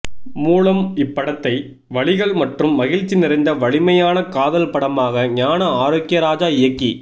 மூலம் இப்படத்தை வலிகள் மற்றும் மகிழ்ச்சி நிறைந்த வலிமையான காதல் படமாக ஞான ஆரோக்கியராஜா இயக்கி